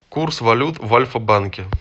курс валют в альфа банке